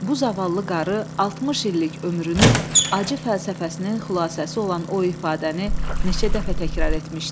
Bu zavallı qarı 60 illik ömrünün acı fəlsəfəsinin xülasəsi olan o ifadəni neçə dəfə təkrar etmişdi?